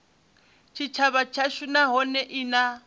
tshitshavha tshashu nahone i na